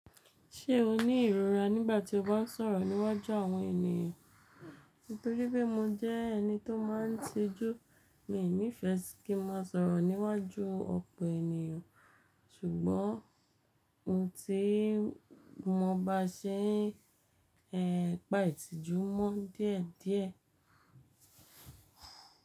Ṣé o ní ìrora nígbàtí tí o bá ń sọ̀rọ̀ níwájú àwọn ènìyàn? Nítorí pé mo jẹ́ ẹni tí ó máa ń tijú, mi ò nífẹ̀sí kí mo sọ̀rọ̀ níwájú ọ̀pọ̀ ènìyàn ṣùgbọ́n ohun tí mo bá ṣe ẹ pa ìtìjú mọ́ díẹ̀ díẹ̀.